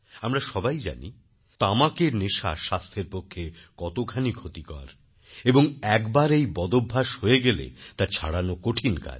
আমরা সবাই জানি তামাকের নেশা স্বাস্থ্যের পক্ষে কতখানি ক্ষতিকর এবং একবার এই বদভ্যাস হয়ে গেলে তা ছাড়ানো কঠিন কাজ